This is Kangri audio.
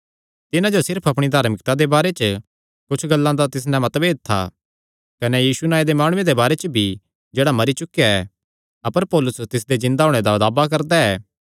तिन्हां जो सिर्फ अपणी धार्मिकता दे बारे च कुच्छ गल्लां च तिस नैं मतभेद था कने यीशु नांऐ दे माणुये दे बारे च भी जेह्ड़ा मरी चुकेया ऐ अपर पौलुस तिसदे जिन्दा होणे दा दावा करदा ऐ